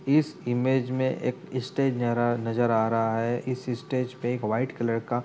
इस इमेज मे एक इस स्टेज नरर नज़र आ रहा है। इस स्टेज पे व्हाइट कलर का --